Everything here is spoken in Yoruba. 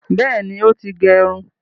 Bẹẹni, o ti gerun